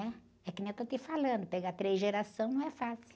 Né? É que nem eu estou te falando, pegar três gerações não é fácil.